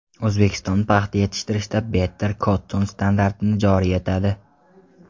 O‘zbekiston paxta yetishtirishda Better Cotton standartini joriy etadi.